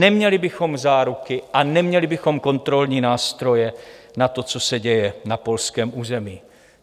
Neměli bychom záruky a neměli bychom kontrolní nástroje na to, co se děje na polském území.